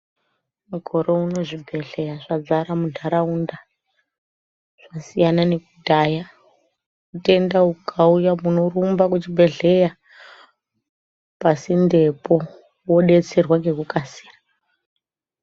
Mukororo uno zvibhedhleya zvadzara muntharaunda zvasiyana nekudhaya utenda hukauya munorumba kuchibhedhleya pasintepo modetserwa nekukasira.